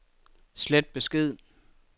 slet besked